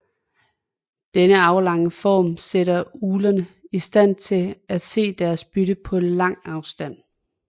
Denne aflange form sætter uglerne i stand til at se deres bytte på lang afstand